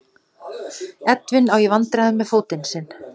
Edwin á í vandræðum með fótinn sinn.